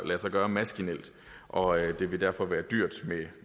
lade sig gøre maskinelt og det derfor vil være dyrt